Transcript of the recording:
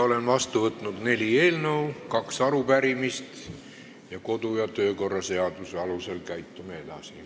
Olen vastu võtnud neli eelnõu ja kaks arupärimist, toimetame nendega edasi vastavalt kodu- ja töökorrale.